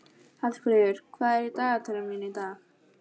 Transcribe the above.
Hallfríður, hvað er í dagatalinu mínu í dag?